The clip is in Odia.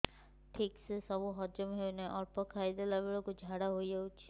ଠିକସେ ସବୁ ହଜମ ହଉନାହିଁ ଅଳ୍ପ ଖାଇ ଦେଲା ବେଳ କୁ ଝାଡା ହେଇଯାଉଛି